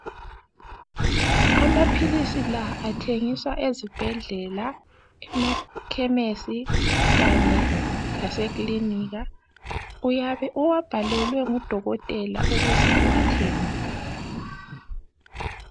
Amaphilisi la athengiswa ezibhedlela, emaKhemisi kanye laseKilinika uyabe uwabhalelwe ngudokotela ukuze uwathenge.